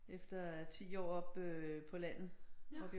Efter 10 år oppe på landet oppe i